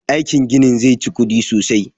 Aikin ginin zai chi kuɗi sosai